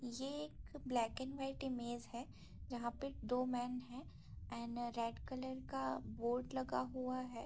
ये एक black and white image है जहाँ पे दो मेन है और रेड कलर का बोर्ड लगा हुआ है।